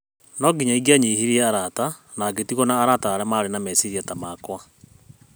No nginya ingĩanyihirie arata na ngĩtigwo na arata arĩa marĩ na meciria ta makwa.